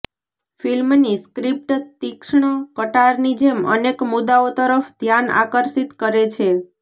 ફિલ્મની સ્ક્રિપ્ટ તિક્ષ્ણ કટારની જેમ અનેક મુદ્દાઓ તરફ ધ્યાન આકર્ષિત કરે છે